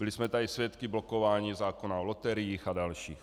Byli jsme tady svědky blokování zákona o loteriích a dalších.